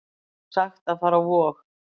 Sagt að fara á Vog